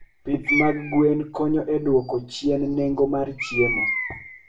Pith mag gwen konyo e duoko chien nengo mar chiemo.